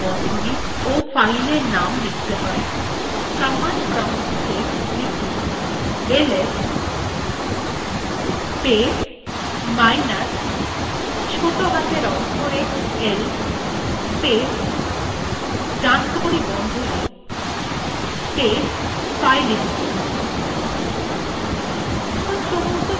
command প্রম্পটwe লিখুন ls space minus ছোটো হাতের অক্ষরে l space right angle bracket space fileinfo